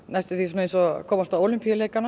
eins og að komast á